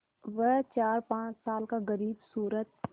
वह चारपाँच साल का ग़रीबसूरत